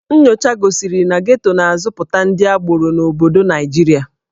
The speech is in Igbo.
Nnyocha gosiri na Geto na-azụpụta ndị agboro n'obodo Naịjirịa.